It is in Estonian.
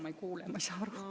Ma ei kuule, ma ei saa aru.